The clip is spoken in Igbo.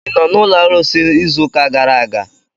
Ị nọ n'ụlọ arụsị izu ụka gara aga?